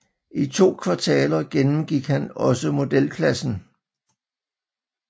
I to kvartaler gennemgik han også modelklassen